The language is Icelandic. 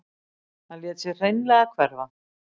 Hann lét sig hreinlega hverfa.